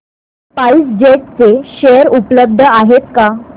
spice jet चे share उपलब्ध आहेत का